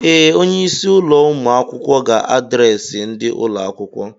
Ee, onye isi ụlọ ụmụ akwụkwọ ga adreesị ndị ụlọ akwụkwọ.